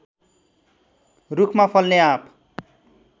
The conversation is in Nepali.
रूखमा फल्ने आँप